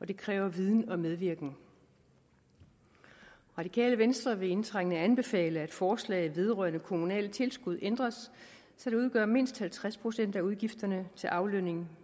det kræver viden og medvirken radikale venstre vil indtrængende anbefale at forslaget vedrørende kommunale tilskud ændres så de udgør mindst halvtreds procent af udgifterne til aflønning